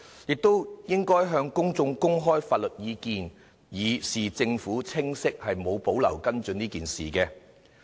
政府應該向公眾公開相關法律意見，以示當局毫無保留跟進此事的清晰態度。